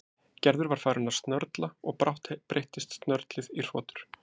Gerður var farin að snörla og brátt breyttist snörlið í hrotur.